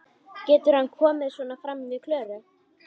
Getur hann komið svona fram við Klöru?